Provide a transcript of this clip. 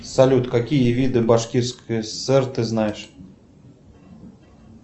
салют какие виды башкирской сср ты знаешь